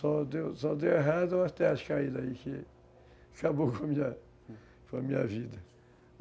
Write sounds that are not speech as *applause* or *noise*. Só deu, só deu errado as terras caídas aí, que que *laughs* acabaram com a minha vida.